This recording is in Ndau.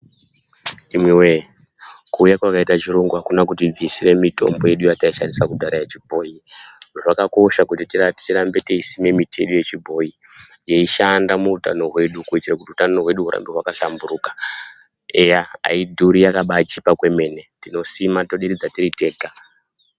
Imwi wee, kuuya kwakaita chirungu akuna kutibvisira mitombo yedu yetaishandisa kudhara yechibhoyi. Zvakakosha kuti tirambe teisima miti yedu yechibhoyi, yeishanda muutano hwedu, kuitira kuti utano hwedu hurambe hwakahlamburuka. Eya, aidhuri yakabai chipa kwemene tinosima, todiridza tiri tega.